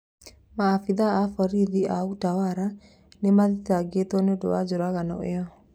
Maabithaa ana a borithi a utawara nĩmathitagetwo nĩundũ wa njũragano ĩyo